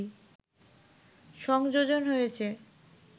সংযোজন হয়েছে